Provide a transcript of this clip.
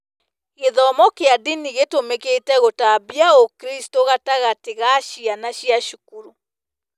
Gĩthomo kĩa ndini gĩtũmĩkĩte gũtambia ũkristo gatagatĩ ka ciana cia cukuru.